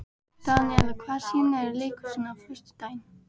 Daníela, hvaða sýningar eru í leikhúsinu á föstudaginn?